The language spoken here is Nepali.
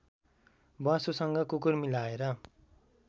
ब्वाँसोसँग कुकुर मिलाएर